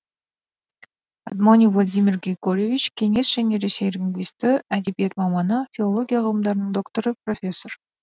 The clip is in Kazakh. адмони владимир григорьевич кеңес және ресей лингвисті әдебиет маманы филология ғылымдарының докторы профессор